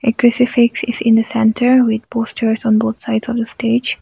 in the centre with posters on both sides of the stage.